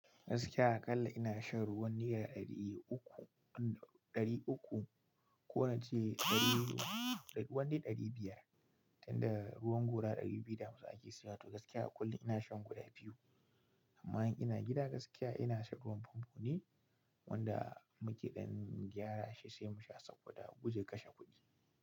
Gaskiya aƙalla ina shan ruwan nera ɗari uku, ɗari uku ko na ce ɗari, wani ɗari biyar. Inda ruwan gora ɗari biyu damasu ake siyata. Gaskiya a kullum ina shan guda biyu amma in ina gida gaskiya ina shan ruwan famfo ne wanda muke dan gyara shi sai musha saboda gudun kashe kudi.